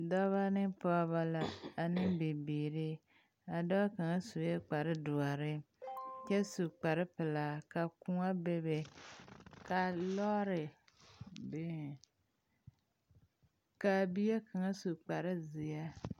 Dɔba ne pɔgeba la ane bibiiri a dɔɔ kaŋ sue kpare ɖoɔre kyɛ su kpare pɛlaa ka koɔ bebe ka lɔɔre biŋ kaa bie kaŋa su kpare zeɛ.